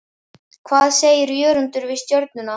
Hvað segir Jörundur um Stjörnuna?